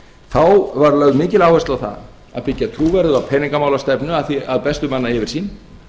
þá var lögð mikil áhersla á það að byggja trúverðuga peningamálastefnu að bestu manna yfirsýn